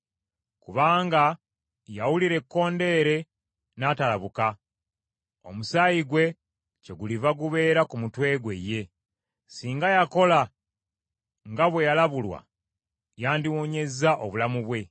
Kubanga yawulira ekkondeere n’atalabuka, omusaayi gwe kyeguliva gubeera ku mutwe gwe ye. Singa yakola nga bwe yalabulwa yandiwonyezza obulamu bwe.